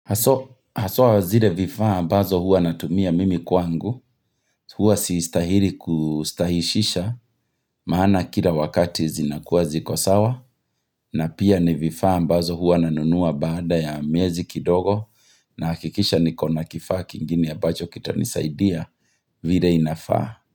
Haswa zile vifaa ambazo huwa natumia mimi kwangu. Huwa siistahiri kustahishisha maana kila wakati zinakuwa zikosawa. Na pia ni vifaa ambazo huwa nanunua baada ya miezi kidogo. Nahakikisha niko na kifaa kingine ambacho kitanisaidia vile inafaa.